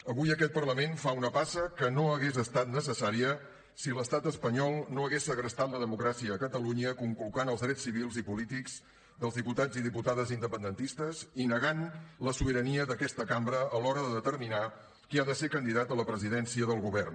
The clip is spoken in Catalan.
avui aquest parlament fa una passa que no hagués estat necessària si l’estat espanyol no hagués segrestat la democràcia a catalunya conculcant els drets civils i polítics dels diputats i diputades independentistes i negant la sobirania d’aquesta cambra a l’hora de determinar qui ha de ser candidat a la presidència del govern